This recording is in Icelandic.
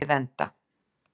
Við enda